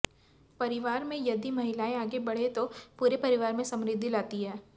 परिवार में यदि महिलाएं आगे बढ़ें तो पूरे परिवार में समृद्धि लाती हैं